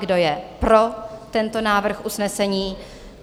Kdo je pro tento návrh usnesení?